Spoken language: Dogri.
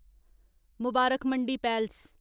मबारक मंडी पैलस